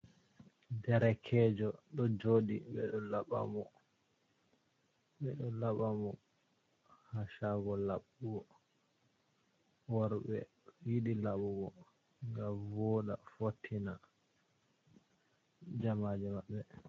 Derkejo ɗo joɗi ɓeɗo laɓa mo, ɓeɗo laɓa mo ha shago laɓugo worɓɓe yiɗi laɓugo ngam voɗɗa fottina jamaje maɓɓe.